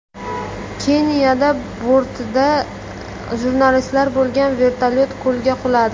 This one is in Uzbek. Keniyada bortida jurnalistlar bo‘lgan vertolyot ko‘lga quladi.